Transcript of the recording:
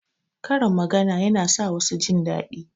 Karin magana yana sa wasu jindaɗi.